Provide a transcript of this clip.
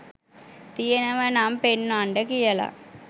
තියෙනව නම් පෙන්වන්ඩ කියල